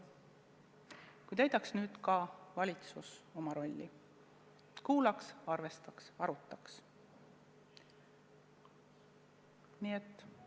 Kui täidaks nüüd ka valitsus oma rolli – kuulaks, arvestaks, arutaks!